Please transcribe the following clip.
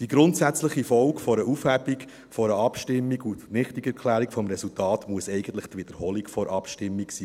Die grundsätzliche Folge einer Aufhebung einer Abstimmung und der Nichtigerklärung des Resultats muss eigentlich die Wiederholung der Abstimmung sein.